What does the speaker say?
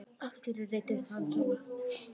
Af hverju reiddist hann svona?